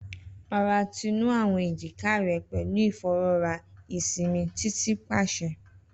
Rọra tunu awọn ejika rẹ pẹlu ifọwọra isinmi Titi paṣẹ